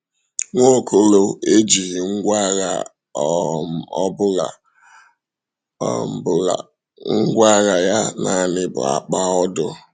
Nwaokolo ejighi ngwa agha ọ um bụla, um bụla, um ngwá agha ya naanị bụ akpa ọdụ. um